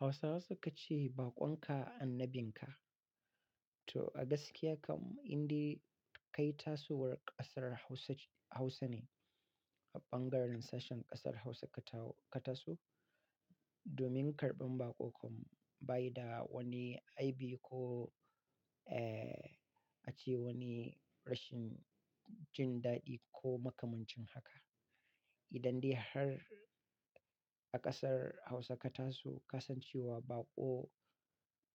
Hausawa suka ce baƙon ka annabin ka. To a gaskiya kam, in dai kai tasowar ƙasar Hausa ce, Hausa ne a bangaren sashen ƙasar Hausa ka taso. Domin karɓar baƙo kam ba yi da wani aibi ko, eh, ace wani rashin jin daɗi ko makamancin haka. Idan dai har a ƙasar Hausa ka taso, ka san cewa baƙo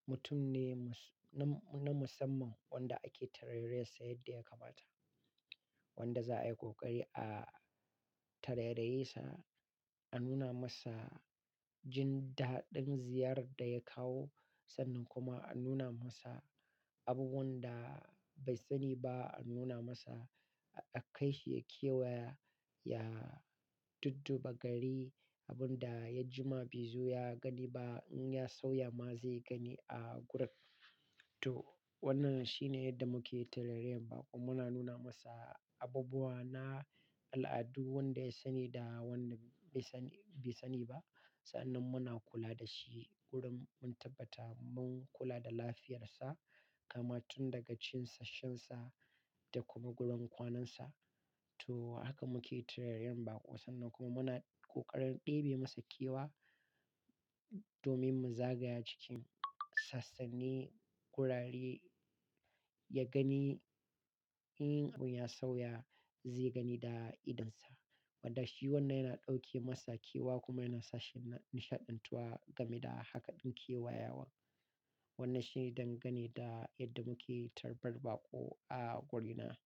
mutum ne mus-- na, na musamman wanda ake tarai-rayarsa yadda ya kamata. Wanda za'a yi ƙoƙari a tarai-rayesa, a nuna masa jin daɗin ziyarar da ya kawo sannan kuma a nuna masa abubuwan da bai sani ba, a nuna masa, a kai shi ya kewaya, ya dudduba gari. Abin da ya jima baizo ya gani ba in ya sauya ma zai gani a gurin. To wannan shi ne yadda muke tarai-rayar baƙo. Muna nuna masa abubuwa na al'adu wanda ya sani da wanda bai sani, bai sani ba. Sa'an nan muna kula da shi wurin mun tabbata mun kula da lafiyarsa, kama tun daga cinsa shansa da kuma gurin kwanansa. To haka muke tarai-rayar baƙo sannan kuma muna ƙoƙarin ɗebe masa kewa domin mu zagaya cikin sassanni, ƙurare. Ya gani in abun ya sauya zai gani da idonsa. Wanda shi wannan yana ɗauke masa kewa kuma yana sashi na nishaɗantuwa game da haka ɗin kewayawan. Wannan shi ne dan gane da yadda muke tarbar baƙo a gurina.